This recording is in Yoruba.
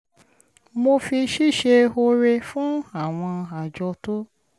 mo fi ṣíṣe ore fún àwọn àjọ tó